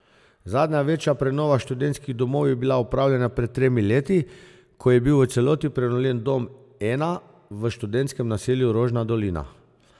Zadnja večja prenova študentskih domov je bila opravljena pred tremi leti, ko je bil v celoti prenovljen dom I v študentskem naselju Rožna dolina.